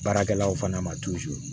Baarakɛlaw fana ma